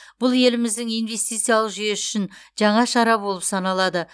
бұл еліміздің инвестициялық жүйесі үшін жаңа шара болып саналады